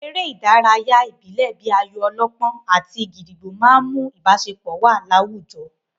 Àwọn eré ìdárayá ìbílẹ̀ bíi ayò-ọlọ́pọ́n àti gídígbò máa n mú ìbáṣepọ̀ wà láwùjọ